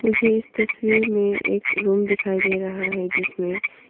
मुझे इस तस्वीर में एक रूम दिखाई दे रहा है जिसमें--